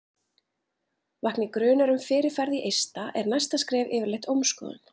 Vakni grunur um fyrirferð í eista er næsta skref yfirleitt ómskoðun.